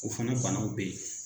O fana banaw bɛ yen